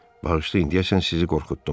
Bağışlayın, deyəsən sizi qorxutdum.